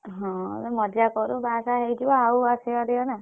ହଁ ମଜ଼ା କରୁ ବହାସାହା ହେଇଯିବ ଆସିପାରିବନା।